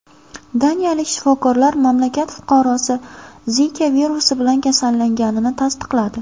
Daniyalik shifokorlar mamlakat fuqarosi Zika virusi bilan kasallanganini tasdiqladi.